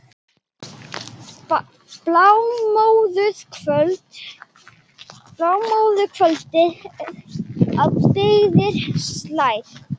Blámóðu kvöldið á byggðir slær.